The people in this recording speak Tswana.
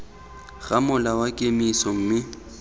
ga mola wa kemiso mme